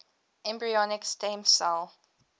embryonic stem cell